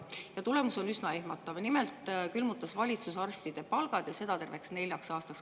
on üsna ehmatav: nimelt külmutas valitsus arstide palgad, ja seda tervelt neljaks aastaks.